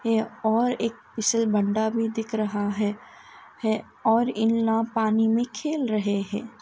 यह और एक फ़िसलबंडा भी दिख रहा हैं और इनला पानी में खेल रहे हैं।